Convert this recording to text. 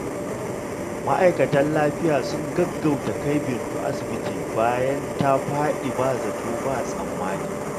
Mataimakan lafiya sun gaggauta kai Bintu asibiti bayan ta fadi ba zato ba tsammani.